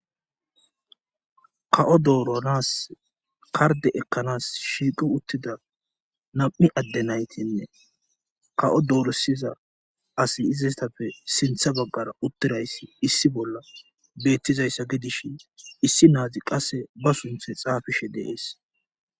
ka7o dooronaas karde ekkanas shiiqi uttida nam7i adde naytinne ka7o dooresiza asi izistapfe sintha baggara uttirayssi issi bolla beettizayssa gidishin issi naazi qasse ba sunthe xaafishe deees